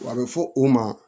A bɛ fɔ o ma